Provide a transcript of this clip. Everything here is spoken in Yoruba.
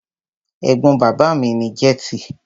Ẹ̀gbọ́n bàbá mi ní jẹ́tì.